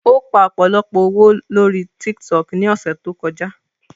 Ó pa ọ̀pọ̀lọpọ̀ owó lóri TikTok ní ọ̀sẹ̀ tó kọjá.